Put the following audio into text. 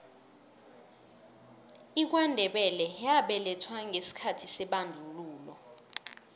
ikwandebele yabelethwa ngesikhathi sebandlululo